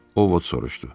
Ovod soruşdu.